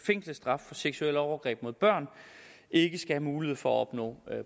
fængselsstraf for seksuelle overgreb mod børn ikke skal have mulighed for at opnå